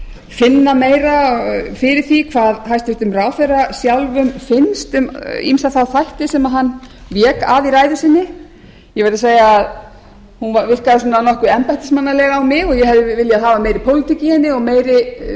finna meira fyrir því hvað hæstvirtur ráðherra sjálfum finnst um ýmsa þá þætti sem hann vék að í ræðu sinni ég verð að segja að hún virkaði svona nokkuð embættismannaleg á mig og ég hefði viljað hafa meiri pólitík í henni og